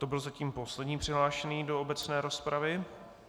To byl zatím poslední přihlášený do obecné rozpravy.